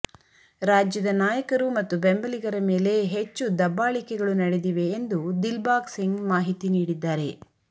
ರಾಜ್ಯದ ನಾಯಕರು ಮತ್ತು ಬೆಂಬಲಿಗರ ಮೇಲೆ ಹೆಚ್ಚು ದಬ್ಬಾಳಿಕೆಗಳು ನಡೆದಿವೆ ಎಂದು ದಿಲ್ಬಾಗ್ ಸಿಂಗ್ ಮಾಹಿತಿ ನೀಡಿದ್ದಾರೆ